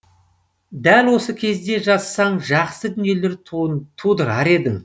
дәл осы кезде жазсаң жақсы дүниелер тудырар едің